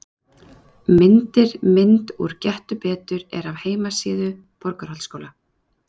Myndir Mynd úr Gettu betur er af heimasíðu Borgarholtsskóla.